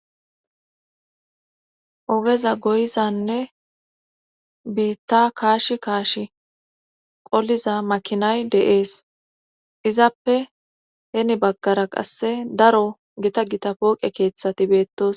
Ogeza goyizanne biitta kaash kaash qolliza makinay de7ees izappe heni baggara qasse daro gita gita pooqe keeththati beettos